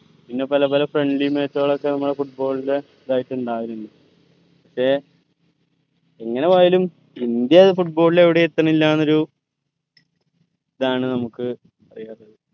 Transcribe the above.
പിന്നെ പല പല friendly match കളൊക്കെ നമ്മളെ football ന്റെ ഇതായിട്ട് ഇണ്ടാവലിണ്ട് പക്ഷെ എങ്ങന പോയാലും ഇന്ത്യ football ൽ എവിടെയും എത്തണില്ല എന്നൊരു ഇതാണ് നമുക്ക് പറയാ